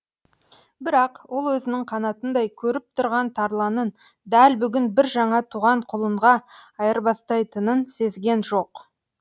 бірақ ол өзінің қанатындай көріп тұрған тарланын дәл бүгін бір жаңа туған құлынға айырбастайтынын сезген жоқ